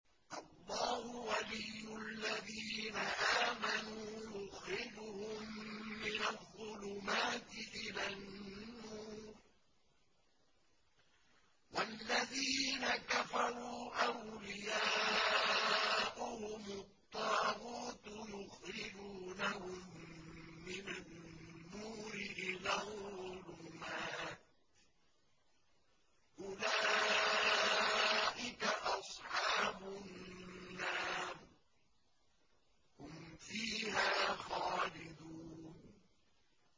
اللَّهُ وَلِيُّ الَّذِينَ آمَنُوا يُخْرِجُهُم مِّنَ الظُّلُمَاتِ إِلَى النُّورِ ۖ وَالَّذِينَ كَفَرُوا أَوْلِيَاؤُهُمُ الطَّاغُوتُ يُخْرِجُونَهُم مِّنَ النُّورِ إِلَى الظُّلُمَاتِ ۗ أُولَٰئِكَ أَصْحَابُ النَّارِ ۖ هُمْ فِيهَا خَالِدُونَ